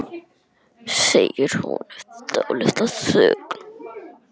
segir hún eftir dálitla þögn.